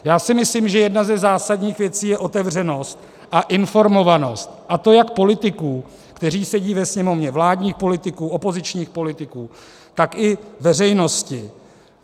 Já si myslím, že jedna ze zásadních věcí je otevřenost a informovanost, a to jak politiků, kteří sedí ve Sněmovně, vládních politiků, opozičních politiků, tak i veřejnosti.